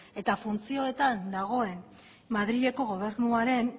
eta funtzioetan dagoen madrileko gobernuaren